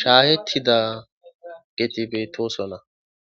shaahettida geti beetosola.